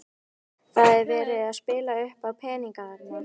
Andri Ólafsson: Það er verið að spila uppá peninga þarna?